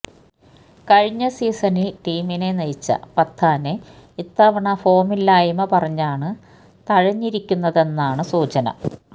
കഴിഞ്ഞ സീസണില് ടീമിനെ നയിച്ച പത്താനെ ഇത്തവണ ഫോമില്ലായ്മ പറഞ്ഞാണ് തഴഞ്ഞിരിക്കുന്നതെന്നാണ് സൂചന